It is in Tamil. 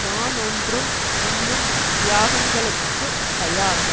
நான் ஒன்றும் இன்னும் தியாகங்களுக்குத் தயா